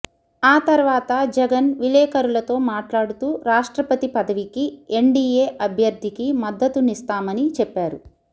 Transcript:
ఆ తర్వాత జగన్ విలేకరులతో మాట్లాడుతూ రాష్ట్రపతి పదవికి ఎన్డీఏ అభ్యర్థికి మద్దతునిస్తామని చెప్పారు